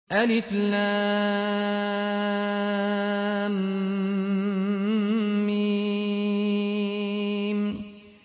الم